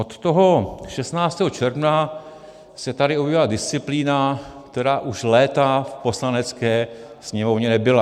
Od toho 16. června se tady objevila disciplína, která už léta v Poslanecké sněmovně nebyla.